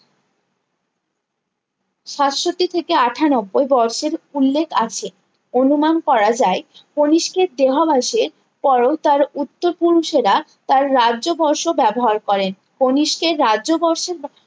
সাতষট্টি থেকে আটানব্বই বর্ষের উল্লেখ আছে অনুমান করা যায় কণিষ্কের দেহাবশের পরেও তার উত্তর পুরুষেরা তার রাজ্য বর্ষ ব্যবহার করেন কণিষ্কের রাজ্য বর্ষ